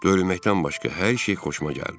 Döyülməkdən başqa hər şey xoşuma gəldi.